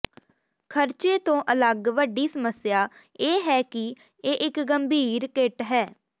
ਖ਼ਰਚੇ ਤੋਂ ਅਲੱਗ ਵੱਡੀ ਸਮੱਸਿਆ ਇਹ ਹੈ ਕਿ ਇਹ ਇਕ ਗੰਭੀਰ ਕਿੱਟ ਹੈ